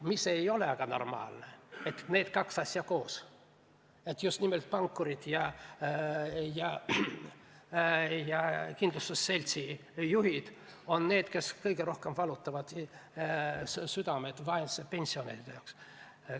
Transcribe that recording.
Normaalne aga ei ole, et need kaks asja on koos, et justkui pankurid ja kindlustusseltside juhid on need, kes kõige rohkem valutavad südant vaese pensionäri pärast.